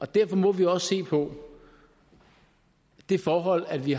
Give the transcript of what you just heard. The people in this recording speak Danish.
derfor må vi også se på det forhold at vi